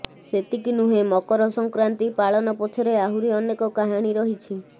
ସେତିକି ନୁହେଁ ମକର ସଂକ୍ରାନ୍ତି ପାଳନ ପଛରେ ଆହୁରି ଅନେକ କାହାଣୀ ରହିଛି